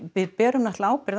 við berum ábyrgð